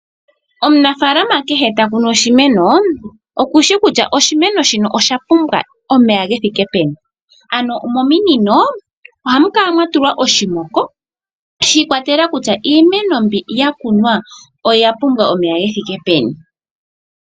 Omunafalama kehe takunu oshimeno okushi kutya oshimeno shino osha pumbwa omeya gethike peni. Ano mominino ohamu kala mwa tulwa oshimoko shiikwatelela kutya iimeno mbi ya kunwa oya pumbwa omeya gethike peni.